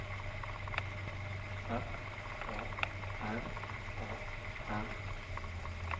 F A R A N